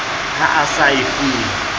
ha a sa e fuwe